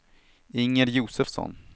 Inger Josefsson